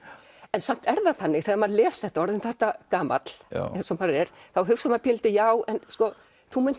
en samt er það þannig þegar maður les þetta orðinn þetta gamall eins og maður er hugsar maður pínulítið já en þú munt